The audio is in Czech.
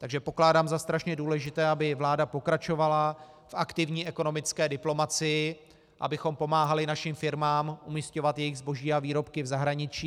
Takže pokládám za strašně důležité, aby vláda pokračovala v aktivní ekonomické diplomacii, abychom pomáhali našim firmám umisťovat jejich zboží a výrobky v zahraničí.